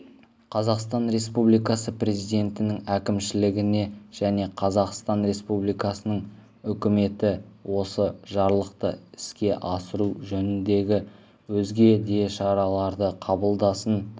қазақстан республикасы президентінің әкімшілігіжәне қазақстан республикасының үкіметі осы жарлықты іске асыру жөніндегі өзге де шараларды қабылдасын